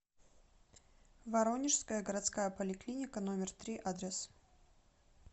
воронежская городская поликлиника номер три адрес